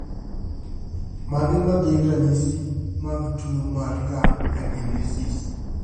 Mage magin ranyisi mag tuo mar Lung agenesis?